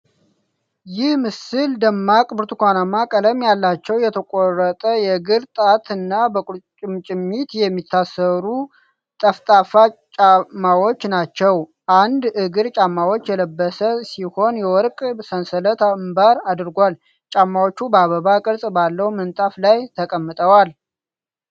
ይህ ምስል ደማቅ ብርቱካናማ ቀለም ያላቸው፣ የተቆረጠ የእግር ጣት እና በቁርጭምጭሚት የሚታሰሩ (T-ጠፍጣፋ ጫማዎች ናቸው። አንድ እግር ጫማውን የለበሰ ሲሆን የወርቅ ሰንሰለት አምባር አድርጓል። ጫማዎቹ በአበባ ቅርጽ ባለው ምንጣፍ ላይ ተቀምጠዋል።